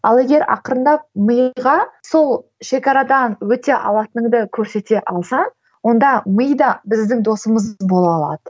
ал егер ақырындап миға сол шекарадан өте алатыныңды көрсете алсаң онда ми да біздің досымыз бола алады